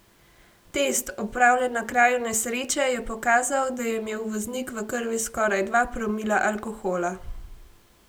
Test, opravljen na kraju nesreče, je pokazal, da je imel voznik v krvi skoraj dva promila alkohola.